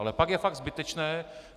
Ale pak je fakt zbytečné...